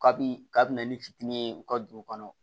Kabi kabini fiti ye u ka dugu kɔnɔ